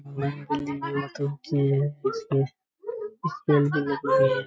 वो तो किए इसमें --